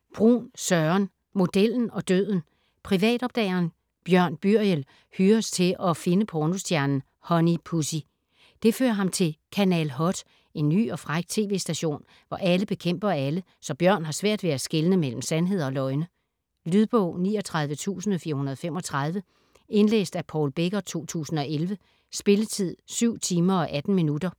Bruun, Søren: Modellen og døden Privatopdageren Bjørn Byriel hyres til at finde pornostjernen Honey Pussy. Det fører ham til Kanal Hot - en ny og fræk tv-station, hvor alle bekæmper alle, så Bjørn har svært ved at skelne mellem sandheder og løgne. Lydbog 39435 Indlæst af Paul Becker, 2011. Spilletid: 7 timer, 18 minutter.